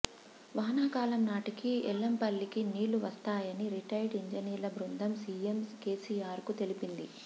వానాకాలం నాటికి ఎల్లంపల్లికి నీళ్లు వస్తాయని రిటైర్డ్ ఇంజినీర్ల బృందం సీఎం కేసీఆర్ కు తెలిపింది